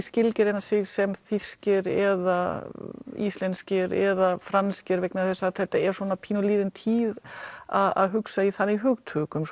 skilgreina sig sem þýskir eða íslenskir eða franskir vegna þess að þetta er pínulítið liðin tíð að hugsa í þannig hugtökum